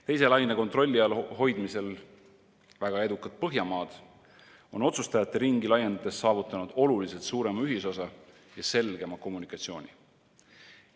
Teise laine kontrolli all hoidmisel väga edukad Põhjamaad on otsustajate ringi laiendades saavutanud oluliselt suurema ühisosa ja selgema kommunikatsiooni.